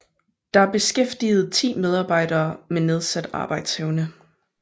Der er beskæftiget ti medarbejdere med nedsat arbejdsevne